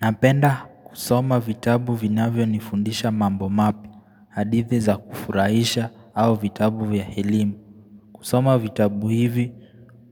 Napenda kusoma vitabu vinavyo nifundisha mambo mapya hadithi za kufurahisha au vitabu ya elimu kusoma vitabu hivi